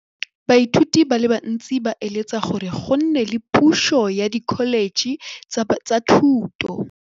Baithuti ba bantsi ba eletsa gore go nne le pusô ya Dkholetšhe tsa Thuto.